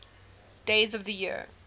days of the year